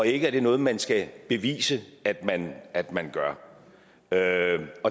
ikke er noget man skal bevise at man at man gør